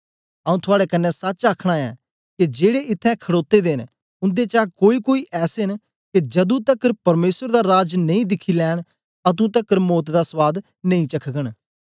आऊँ थआड़े कन्ने सच आखना ऐ के जेड़े इत्थैं खड़ोते दे न उन्देचा कोईकोई ऐसे न के जदू तकर परमेसर दा राज नेई दिखी लैंन अतुं तकर मौत दा स्वाद नेई चखघंन